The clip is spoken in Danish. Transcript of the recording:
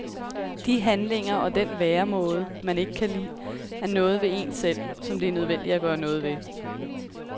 De handlinger og den væremåde, man ikke kan lide, er noget ved en selv, som det er nødvendigt at gøre noget ved.